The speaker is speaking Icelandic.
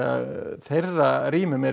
þeirra rýmum er